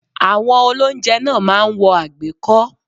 Àwọn olóúnjẹ náà máa ń wọ àgbékọ́